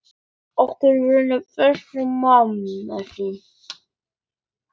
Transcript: Okkur fannst hann báðum ágætur.